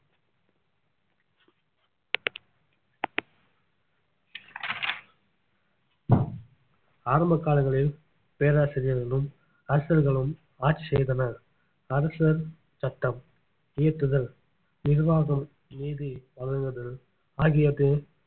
ஆரம்ப காலங்களில் பேராசிரியர்களும் அரசர்களும் ஆட்சி செய்தனர் அரசர் சட்டம் இயற்றுதல் நிர்வாகம் நீதி வழங்குதல் ஆகிவற்றில்